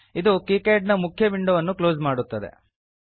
ಇದು ಕೀಕ್ಯಾಡ್ ನ ಮುಖ್ಯ ವಿಂಡೊ ಅನ್ನು ಕ್ಲೋಸ್ ಮಾಡುತ್ತದೆ